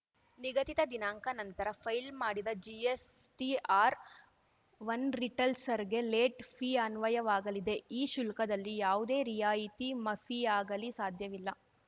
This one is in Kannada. ನಿಗದಿತ ದಿನಾಂಕ ನಂತರ ಫೈಲ್‌ ಮಾಡಿದ ಜಿಎಸ್‌ಟಿಆರ್‌ವನ್ ರಿಟಲ್ಸರ್ ಗೆ ಲೇಟ್‌ ಫೀ ಅನ್ವಯವಾಗಲಿದೆ ಈ ಶುಲ್ಕದಲ್ಲಿ ಯಾವುದೇ ರಿಯಾಯಿತಿ ಮಫಿಯಾಗಲೀ ಸಾಧ್ಯವಿಲ್ಲ